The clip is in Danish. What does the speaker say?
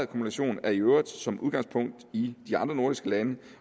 kumulation er i øvrigt som udgangspunkt det i de andre nordiske lande